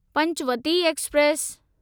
Panchavati express